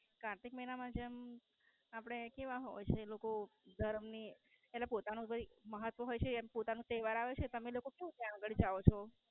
કાર્તિક મહિના માં જેમ આપડે કેવા હો જે લોકો ધર્મ ની અને પોતાનું કંઈક મહત્વ એમ પોતાનું તઇ વરાવે છે તમે લોકો શું ત્યાં આગળ જાઓ છો?